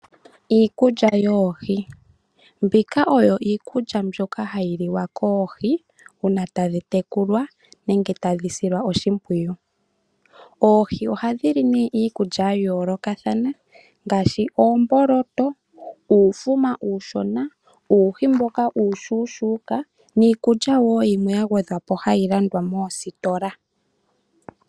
Iikulya yoohi . Mbika oyo iikulya yoohi mbyoka hayi tadhi tekulwa nenge tadhi silwa oshimpwiyu. Oohi ohadhili nee iikulya ya yoolokathana ngaashi oomboloto, uufuma uushona, uuhi mboka uushona ,niikulya woo mbyoka hayi landwa moositola.